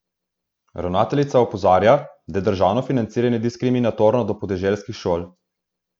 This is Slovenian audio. Ravnateljica opozarja, da je državno financiranje diskriminatorno do podeželskih šol.